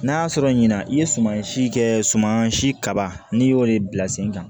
N'a sɔrɔ ɲina i ye sumansi kɛ suman si kaba n'i y'o de bila sen kan